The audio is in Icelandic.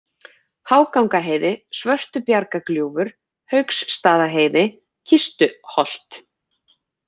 Hágangaheiði, Svörtubjargagljúfur, Hauksstaðaheiði, Kistuholt